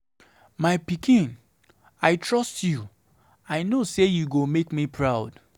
My pikin, I trust you, I know say you go make me proud.